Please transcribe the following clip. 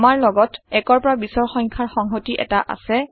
আমাৰ লগত ১ৰ পৰা ২০ৰ সংখ্যাৰ সংহতি এটা আছে